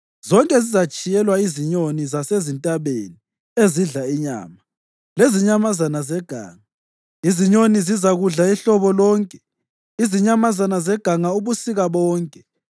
Zonke zizatshiyelwa izinyoni zasezintabeni ezidla inyama, lezinyamazana zeganga; izinyoni zizakudla ihlobo lonke, izinyamazana zeganga ubusika bonke.